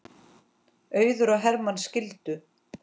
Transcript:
Auður og Hermann skildu.